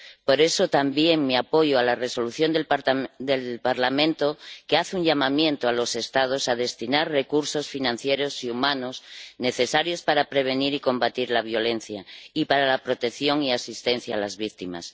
Por eso también mi apoyo a la Resolución del Parlamento, que hace un llamamiento a los Estados para destinar recursos financieros y humanos, necesarios para prevenir y combatir la violencia y para la protección y asistencia a las víctimas.